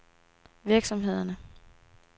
virksomhederne